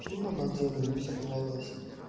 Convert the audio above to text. фильм обалденный мне всё понравилось